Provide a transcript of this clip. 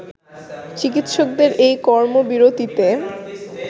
চিকিৎসকদের এ কর্মবিরতিতে